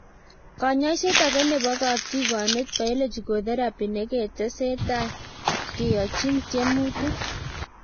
Kanyoiset age nebo katigonet, biologic therapy neketesetai keyochin tyemutik